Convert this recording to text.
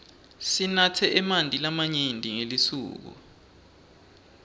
sinatse emanti lamanyenti ngelisuku